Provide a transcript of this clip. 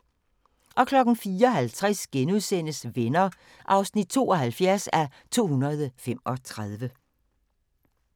04:50: Venner (72:235)*